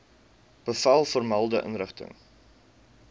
bevel vermelde inrigting